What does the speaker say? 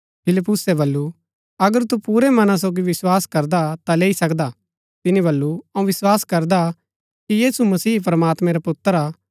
फिलिप्पुसे बल्लू अगर तू पुरै मना सोगी विस्वास करदा ता लैई सकदा तिनी बल्लू अऊँ विस्वास करदा कि यीशु मसीह प्रमात्मैं रा पुत्र हा